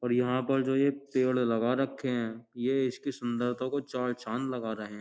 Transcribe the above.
और यहां पर जो ये पेड़ लगा रखे हैं ये इसकी सुंदरता को चार चांद लगा रहे हैं।